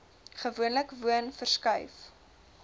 gewoonlik woon verskuif